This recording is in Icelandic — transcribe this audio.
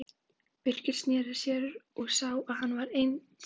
Birkir sneri sér við og sá að hann var einsamall.